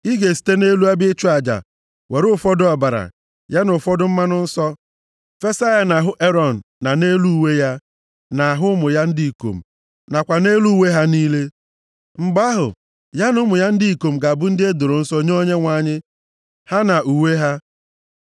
Ị ga-esite nʼelu ebe ịchụ aja were ụfọdụ ọbara, ya na ụfọdụ mmanụ nsọ, fesa ya nʼahụ Erọn na nʼelu uwe ya, nʼahụ ụmụ ya ndị ikom, nakwa nʼelu uwe ha niile. Mgbe ahụ, ya na ụmụ ya ndị ikom ga-abụ ndị e doro nsọ nye Onyenwe anyị, ha na uwe ha.